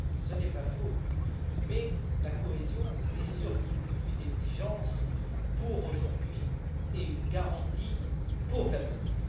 Ce n'est pas faux, mais la cohésion est surtout une exigence pour aujourd'hui et une garantie pour l'avenir.